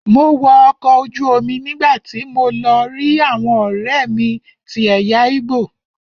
Mo wọ ọkọ̀ ojú omi nígbàtí mo lọ rí àwọn ọ̀rẹ́mi tí ẹ̀yà igbo.